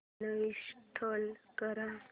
uninstall कर